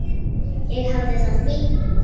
Ég hafði það fínt.